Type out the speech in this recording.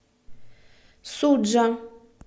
суджа